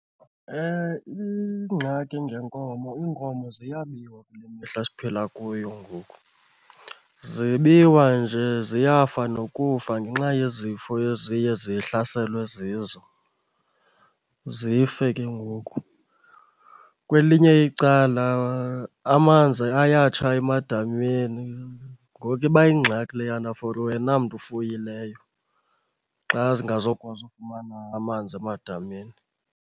Ingxaki ngenkomo, iinkomo ziyabiwa kule mihla siphila kuyo ngoku. Zibiwa nje ziyafa nokufa ngenxa yezifo eziye zihlaselwe zizo, zife ke ngoku. Kwelinye icala amanzi ayatsha emadameni ngoku iba yingxaki leyana for wena mntu ufuyileyo xa zingazokwazi ufumana amanzi emadameni.